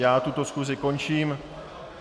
Já tuto schůzi končím.